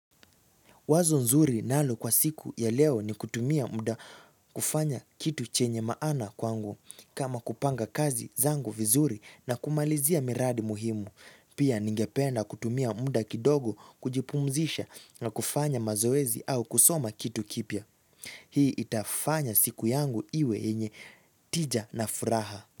Wazo nzuri nalo kwa siku ya leo ni kutumia muda kufanya kitu chenye maana kwangu kama kupanga kazi zangu vizuri na kumalizia miradi muhimu. Pia ningependa kutumia muda kidogo kujipumzisha na kufanya mazoezi au kusoma kitu kipya. Hii itafanya siku yangu iwe yenye tija na furaha.